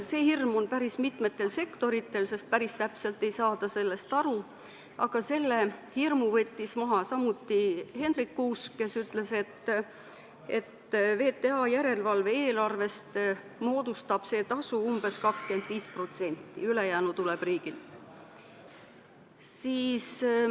See hirm on päris mitmetel sektoritel, sest päris täpselt ei saada sellest aru, aga selle hirmu võttis maha samuti Hendrik Kuusk, kes ütles, et VTA järelevalve-eelarvest moodustab see tasu umbes 25%, ülejäänu tuleb riigilt.